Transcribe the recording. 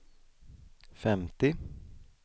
femtio